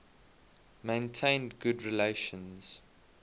maintained good relations